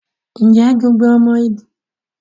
Ǹjẹ́ gbogbo ọmọ Yorùbá ni wọ́n gbọ́ èdè ọmọ Yorùbá mìíràn?